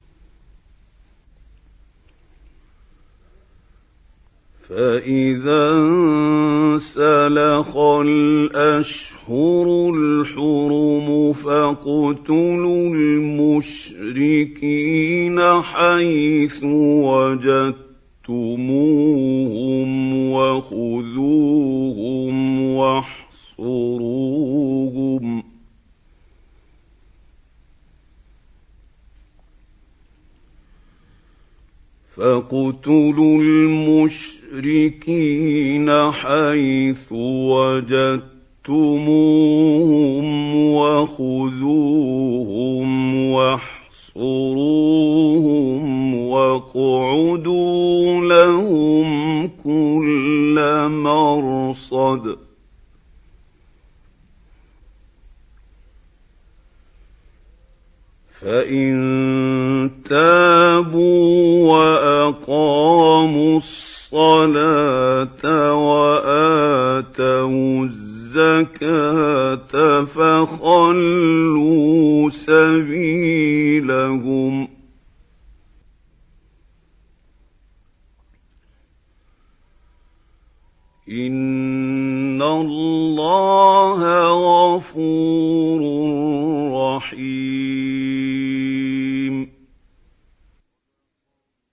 فَإِذَا انسَلَخَ الْأَشْهُرُ الْحُرُمُ فَاقْتُلُوا الْمُشْرِكِينَ حَيْثُ وَجَدتُّمُوهُمْ وَخُذُوهُمْ وَاحْصُرُوهُمْ وَاقْعُدُوا لَهُمْ كُلَّ مَرْصَدٍ ۚ فَإِن تَابُوا وَأَقَامُوا الصَّلَاةَ وَآتَوُا الزَّكَاةَ فَخَلُّوا سَبِيلَهُمْ ۚ إِنَّ اللَّهَ غَفُورٌ رَّحِيمٌ